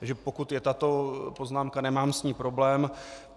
Takže pokud je tato poznámka, nemám s ní problém.